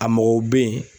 A mɔgɔw bɛ yen